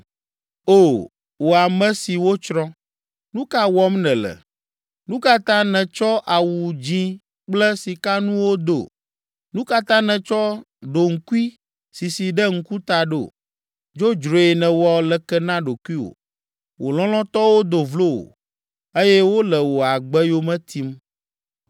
O, wò ame si wotsrɔ̃, nu ka wɔm nèle? Nu ka ta nètsɔ awu dzĩ kple sikanuwo do? Nu ka ta nètsɔ ɖoŋkui sisi ɖe ŋkuta ɖo? Dzodzroe nèwɔ leke na ɖokuiwò. Wò lɔlɔ̃tɔwo do vlo wò eye wole wò agbe yome tim.